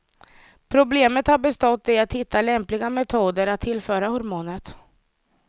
Problemet har bestått i att hitta lämpliga metoder att tillföra hormonet.